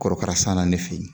Kɔrɔkara sanna ne fɛ yen